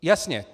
Jasně.